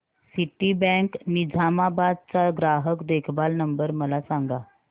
Citibank Nizamabad चा ग्राहक देखभाल नंबर मला सांगा